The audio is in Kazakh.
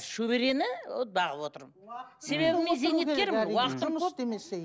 шөберені вот бағып отырмын себебі мен зейнеткермін уақытым жұмыс істемесе